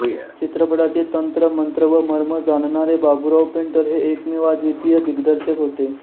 चित्रपटाचे तंत्र मंत्र व मर्म जाणणारे बाबुराव पेंटर हे एकमेवाद्वितीय दिग्दर्शक होते